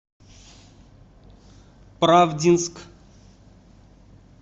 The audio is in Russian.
правдинск